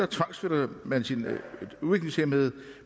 tvangsflytter sine udviklingshæmmede